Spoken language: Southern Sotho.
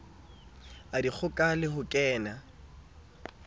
a dikgoka le ho kwena